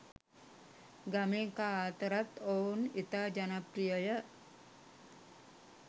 ගමේ කා අතරත් ඔවුන් ඉතා ජනප්‍රියය.